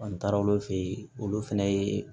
An taara olu fɛ yen olu fɛnɛ ye